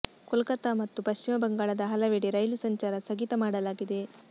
ಕೋಲ್ಕತಾ ಮತ್ತು ಪಶ್ಚಿಮ ಬಂಗಾಳದ ಹಲವೆಡೆ ರೈಲು ಸಂಚಾರ ಸ್ಥಗಿತ ಮಾಡಲಾಗಿದೆ